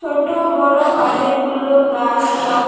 ছোট বড়ো অনেকগুলো গাস ল--